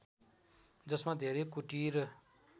जसमा धेरै कुटीर